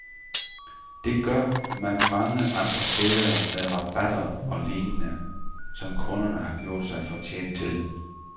Det gør man mange andre steder med rabatter og lignende, som kunderne har gjort sig fortjent til.